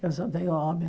Eu só tenho homem.